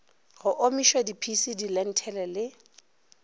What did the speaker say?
go omišwa diphisi dilenthele le